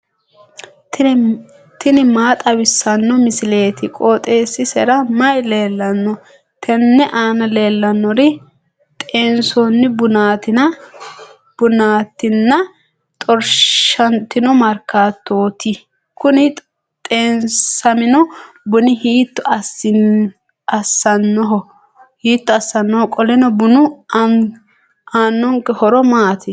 tini maa xawissanno misileeti? qooxeessisera may leellanno? tenne aana leellannori xeensoonni bunaatinna xorshantino maakiyaattooti kuni xeesamino buni hiitto assinanniho? qoleno bunu aannonketi horo maati?